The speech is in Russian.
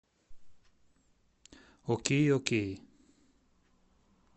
окей окей